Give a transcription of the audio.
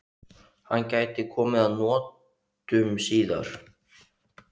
Hann gæti komið að notum síðar.